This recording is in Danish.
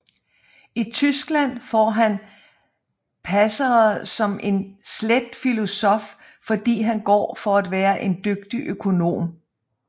I Tyskland får han passere som en slet filosof fordi han går for at være en dygtig økonom